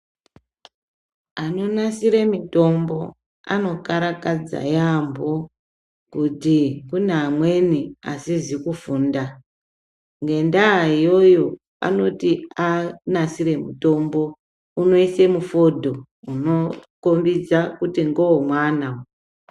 Anonasire mitombo anokarakadza yaambo kuti kune amweni asizi kufunda ngendaa iyoyo anoti anasire mutombo unoise mufodho unokombidza kuti ngewemwana uyu.